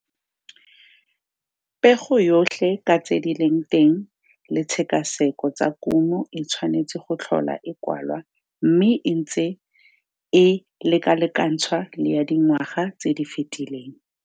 Pego yotlhe ka tse di leng teng le tshekaseko tsa kumo e tshwanetse go tlhola e kwalwa mme e ntse e lekalekantshwa le ya dingwaga tse di fetileng.